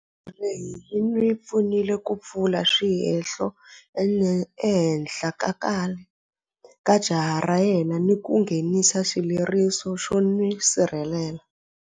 Senthara leyi yi n'wi pfunile ku pfula swihehlo ehenhla ka khale ka jaha ra yena ni ku nghenisa xileriso xo n'wi sirhelela.